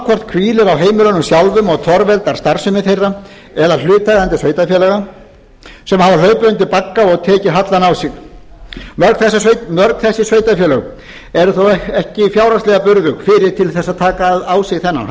heimilunum sjálfum og torveldar starfsemi þeirra eða hlutaðeigandi sveitarfélaga sem hafa hlaupið undir bagga og tekið hallann á sig mörg þessi sveitarfélög eru þó ekki fjárhagslega burðug fyrir til að taka á sig þennan